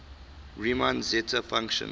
riemann zeta function